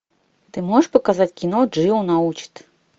ты можешь показать кино джио научит